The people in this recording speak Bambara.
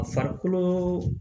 A farikolo